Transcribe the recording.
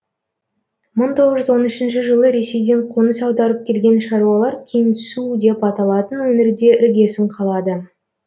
мың тоғыз жүз он үшінші жылы ресейден қоныс аударып келген шаруалар кеңсу деп аталатын өңірде іргесін қалады